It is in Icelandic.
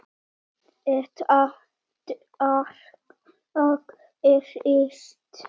Þetta bara gerist.